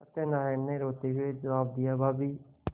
सत्यनाराण ने रोते हुए जवाब दियाभाभी